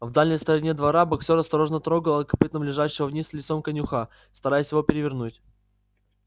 в дальней стороне двора боксёр осторожно трогал копытом лежавшего вниз лицом конюха стараясь его перевернуть